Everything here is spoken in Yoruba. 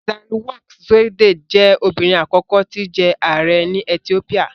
Sahle-Work Zewde jẹ́ obìnrin àkọ́kọ́ tí jẹ ààrẹ́ ní Ethiopia